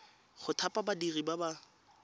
go thapa badiri ba ba